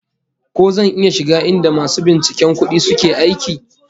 Ko zan iya shiga inda masu binciken kudi suke aiki?